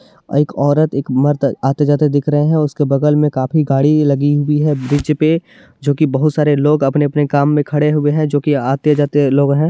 एक औरत और मर्द आते जाते दिख रहे है उसके बगल मे काफी गाड़ी लगी हुई है ब्रिज पे जो की बहुत सारे लोग अपने अपने काम मे खड़े हुये है जो की आते जाते लोग है।